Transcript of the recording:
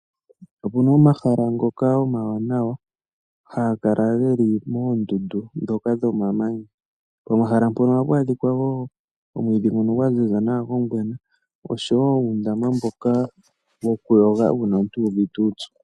Opuna omahala ngoka omawanawa haga adhika moondundu dhomamanya. Ohapu adhika omwiidhi gwaziza nawa gwongwena oshowo uundama wokuyoga uuna omuntu uuvite uupyu.